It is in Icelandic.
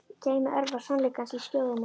Geymi örvar sannleikans í skjóðu minni.